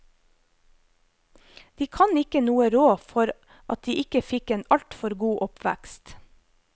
De kan ikke noe råd for at de fikk en alt for god oppvekst.